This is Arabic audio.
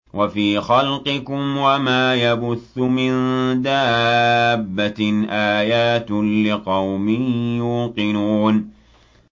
وَفِي خَلْقِكُمْ وَمَا يَبُثُّ مِن دَابَّةٍ آيَاتٌ لِّقَوْمٍ يُوقِنُونَ